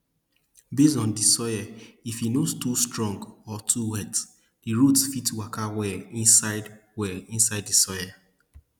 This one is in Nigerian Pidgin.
based on di soil if e nor too strong or too wet di roots fit waka well inside well inside di soil